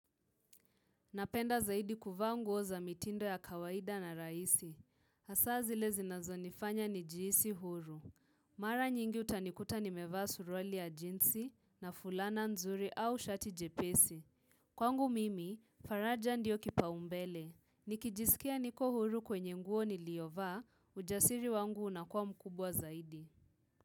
Napenda zaidi kuvaa nguo za mitindo ya kawaida na rahisi. Hasa zile zinazionifanya nijihisi huru. Mara nyingi utanikuta nimevaa suruali ya jeansi na fulana nzuri au shati jepesi. Kwangu mimi, faraja ndiyo kipaumbele. Nikijisikia niko huru kwenye nguo ni liovaa, ujasiri wangu unakua mkubwa zaidi.